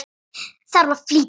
Þarf að flýta mér heim.